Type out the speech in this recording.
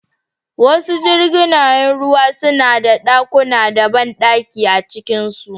Wasu jiragen ruwa suna da ɗakuna da banɗakuna a cikinsu.